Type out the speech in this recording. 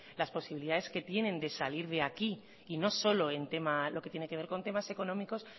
las posibilidades que tienen de salir de aquí y no solo en temas lo que tiene que ver con temas económicos